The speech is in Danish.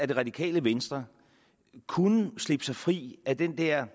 det radikale venstre kunne slippe fri af den der